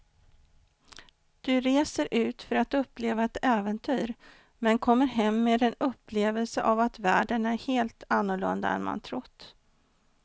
Du reser ut för att uppleva ett äventyr men kommer hem med en upplevelse av att världen är helt annorlunda än man trott.